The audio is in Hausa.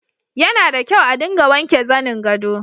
Yana da kyau a dinga wanke zanin gado.